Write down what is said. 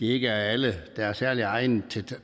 ikke er alle der er særlig egnet til